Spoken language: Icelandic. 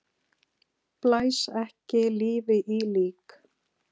Blæs ekki lífi í lík!